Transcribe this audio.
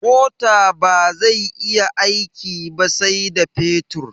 Mota bazai yi aiki ba sai da fetur